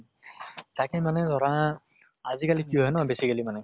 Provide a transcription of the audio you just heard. তাকে মানে ধৰা আজি কালি কি হয় ন basically মানে